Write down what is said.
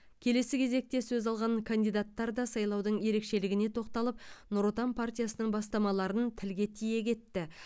келесі кезекте сөз алған кандидаттар да сайлаудың ерекшелігіне тоқталып нұр отан партиясының бастамаларының тілге тиек етті